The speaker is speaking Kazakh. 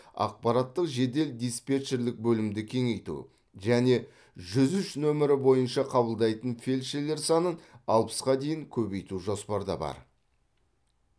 ақпараттық жедел диспетчерлік бөлімді кеңейту және жүз үш номері бойынша қабылдайтын фельдшерлер санын алпысқа дейін көбейту жоспарда бар